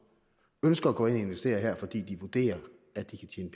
ønsker at gå ind og investere her fordi de vurderer at de kan